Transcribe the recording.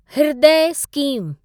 हृदय स्कीम